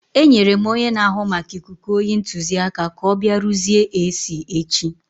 Enyere m onye na-ahụ maka ikuku oyi ntụziaka ka ọ bịa rụzie AC echi.